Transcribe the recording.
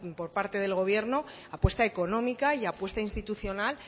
por parte del gobierno apuesta económica y apuesta institucional